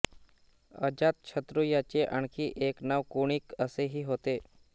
अजातशत्रू याचे आणखी एक नाव कुणिक असे ही होते